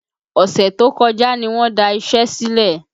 Ọ̀sẹ̀ tó kọjá ní wọn da iṣẹ́ sílẹ̀